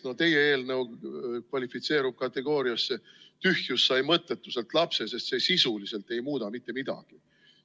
No teie eelnõu kvalifitseerub kategooriasse "tühjus sai mõttetuselt lapse", sest see sisuliselt ei muuda mitte midagi.